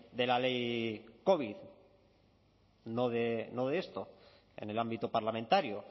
de la ley covid no de esto en el ámbito parlamentario